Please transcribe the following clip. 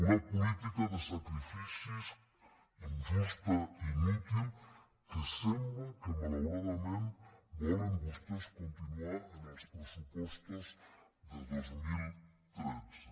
una política de sacrificis injusta i inútil que sembla que malauradament volen vostès continuar en els pressupostos de dos mil tretze